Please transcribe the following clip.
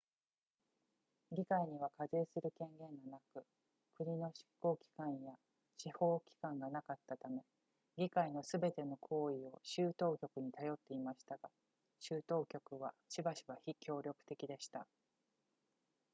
議会には課税する権限がなく国の執行機関や司法機関がなかったため議会のすべての行為を州当局に頼っていましたが州当局はしばしば非協力的でした